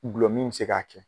Dulɔmin be se ka kɛ.